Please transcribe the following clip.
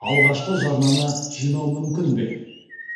алғашқы жарнаны жинау мүмкін бе